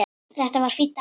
Þetta var fínn dagur.